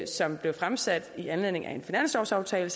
som blev fremsat i anledning af en finanslovsaftale